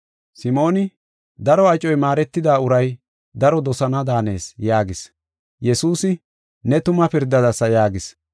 Simooni, “Daro acoy maaretida uray daro dosana daanees” yaagis. Yesuusi, “Ne tuma pirdadasa” yaagis.